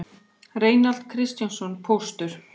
Reinald Kristjánsson póstur